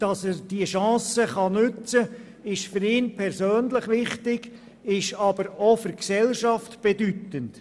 Dass er diese Möglichkeit nutzen kann, ist für ihn persönlich wichtig, ist aber auch für die Gesellschaft bedeutend.